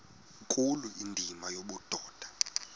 nkulu indima yobudoda